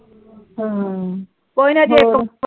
ਹਮ ਕੋਈ ਨਾ ਜੇ